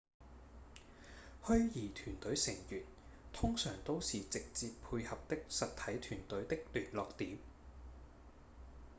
虛擬團隊成員通常都是直接配合的實體團隊的聯絡點